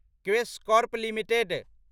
Quess Corp limited